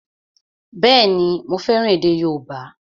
Bẹ́ẹ̀ni, mo fẹ́ràn èdè yóòbá